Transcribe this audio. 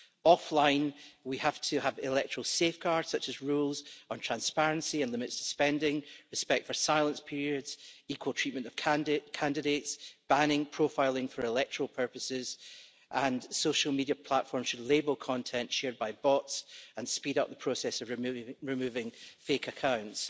Offline we have to have electoral safeguards, such as rules on transparency and limits to spending, respect for silence periods, equal treatment of candidates, banning of profiling for electoral purposes, and social media platforms should label content shared by bots and speed up the process of removing fake accounts.